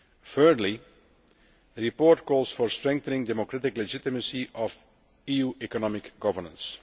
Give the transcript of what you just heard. Thirdly, the report calls for strengthening the democratic legitimacy of EU economic governance.